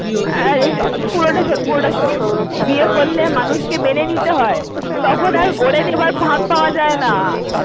আরে, পুরোটা শোন পুরোটা শোন। বিয়ে করলে মানুষকে মেনে নিতে হয় তখন আর গড়ে নেওয়ার ফাঁক পাওয়া যায়না।